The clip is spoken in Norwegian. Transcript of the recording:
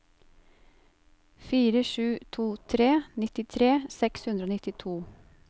fire sju to tre nittitre seks hundre og nittito